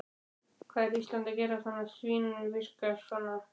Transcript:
Hvað er Ísland að gera sem svínvirkar svona?